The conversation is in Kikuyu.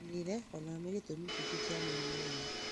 mĩrĩĩre o nayo nĩ gĩtumi kĩngĩ kĩa mũrimũ ũyũ